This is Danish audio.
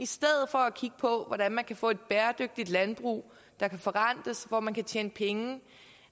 stedet for at kigge på hvordan man kan få et bæredygtigt landbrug der kan forrentes hvor man kan tjene penge